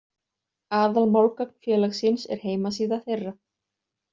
Aðal málgagn félagsins er heimasíða þeirra.